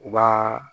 U b'a